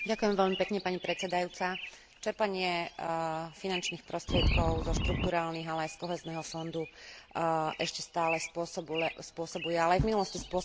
Čerpanie finančných prostriedkov zo štrukturálnych, ale aj z Kohézneho fondu ešte stále spôsobuje, ale aj v minulosti spôsobovalo viacerým krajinám problémy.